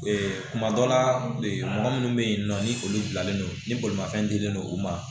kuma dɔ la mɔgɔ minnu bɛ yen nɔ ni olu bilalen don ni bolimafɛn dilen no u ma